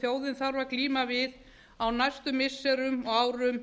þjóðin þarf að glíma við á næstu missirum og árum